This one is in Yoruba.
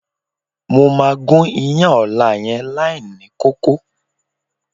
Mo máa gún iyán ọ̀la yẹn láìní kókó.